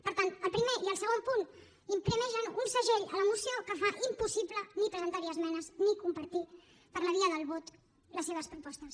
per tant el primer i el segon punt imprimeixen un segell a la moció que fa impossible ni presentar hi esmenes ni compartir per la via del vot les seves propostes